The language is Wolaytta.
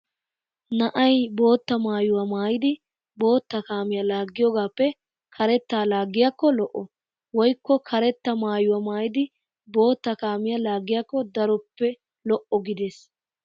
Na'ay bootta maayuwa maayidi bootta kaamiya laaggiyoogaappe karettaa laaggiyaako lo'o. Woykko karetta maayuwa maayidi bootta kaamiya laagiyakko daroppe lo'o gides.